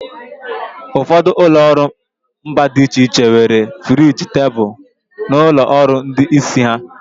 Ụfọdụ ụlọ ọrụ mba dị iche iche nwere friji tebụl n'ụlọ ọrụ ndị isi ha.